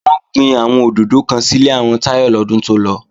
Wọ́n gbin àwọn òdòdó kan sílé àwọn Táyọ lọ́dún tó lọ